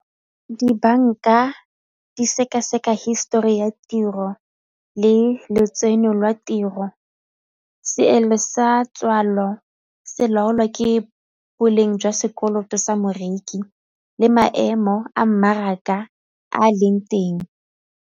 Dibanka di sekaseka hisetori ya tiro le letseno lwa tiro, seelo sa tswalelo se laolwa ke boleng jwa sekoloto sa moreki le maemo a mmaraka a leng teng.